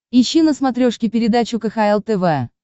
ищи на смотрешке передачу кхл тв